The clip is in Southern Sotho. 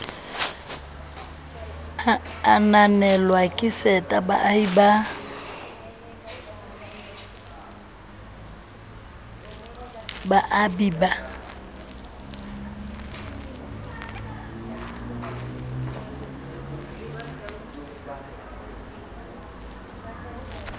ananelwa ke seta baabi ba